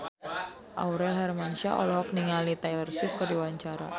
Aurel Hermansyah olohok ningali Taylor Swift keur diwawancara